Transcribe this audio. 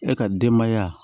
E ka denbaya